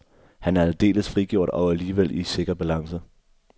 Han er aldeles frigjort og alligevel i sikker balance.